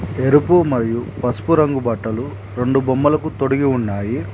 ఎరుపు మరియు పసుపు రంగు బట్టలు రెండు బొమ్మలకు తొడిగి ఉన్నాయి.